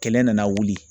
Kɛlɛ nana wuli